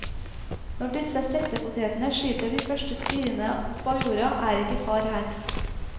Når disse settepotetene skyter de første spirene opp av jorda, er ikke far her.